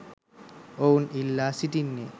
ඔවුන් ඉල්ලා සිටින්නේ